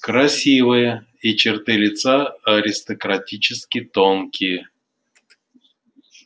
красивая и черты лица аристократически тонкие